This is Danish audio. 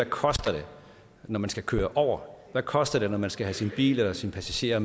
koster når man skal køre over hvad koster det når man skal have sin bil eller sine passagerer